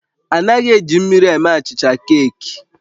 A naghị eji mmiri eme achịcha keeki